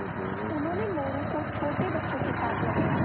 उन्होंने मोरू को छोटे बच्चों के साथ लगाया